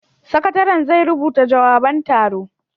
Sakataren zai rubuta jawaban taron